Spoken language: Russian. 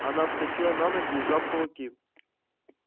она вскочила на ноги и сжав кулаки